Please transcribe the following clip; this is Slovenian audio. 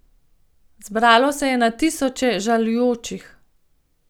Zbralo se je na tisoče žalujočih.